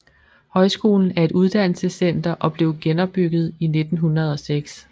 Højskolen er et uddannelsescenter og blev genopbygget i 1906